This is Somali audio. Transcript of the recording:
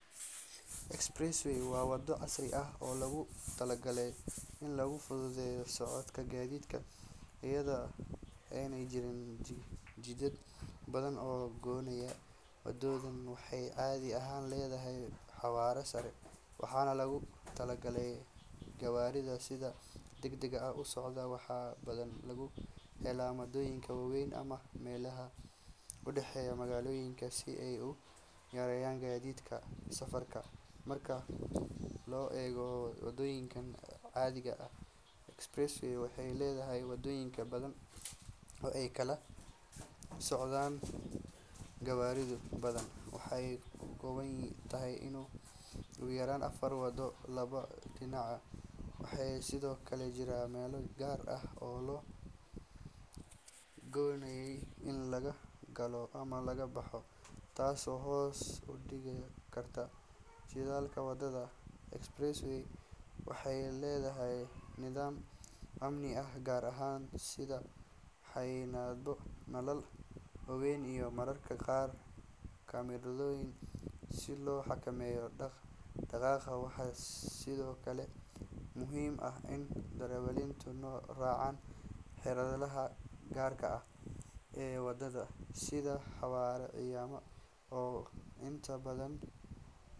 Expressway waa waddo casri ah oo loogu talagalay in lagu fududeeyo socodka gawaarida iyadoo aanay jirin jidad badan oo gooynaya. Waddadani waxay caadi ahaan leedahay xawaare sare, waxaana loogu talagalay gawaarida sida degdegga ah u socda. Waxaa badanaa laga helo magaalooyinka waaweyn ama meelaha u dhexeeya magaalooyinka si ay u yareeyaan waqtiga safarka. Marka loo eego waddooyinka caadiga ah, expressway waxay leedahay waddooyin badan oo ay kala socdaan gawaaridu, badanaa waxay ka kooban tahay ugu yaraan afar waddo, laba dhinacba. Waxaa sidoo kale jira meelo gaar ah oo loo qoondeeyey in laga galo ama laga baxo, taasoo hoos u dhigta khatarta shilalka. Wadada expressway waxay leedahay nidaam amni oo gaar ah sida xayndaabyo, nalal waaweyn iyo mararka qaar kaamirooyin si loo xakameeyo dhaq-dhaqaaqa. Waxaa sidoo kale muhiim ah in darawaliintu raacaan xeerarka gaarka ah ee waddadan, sida xawaare cayiman oo inta badan.